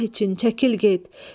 Allah üçün çəkil get.